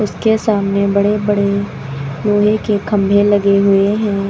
उसके सामने बड़े बड़े लोहे के खंभे लगे हुए हैं।